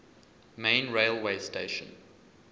main railway station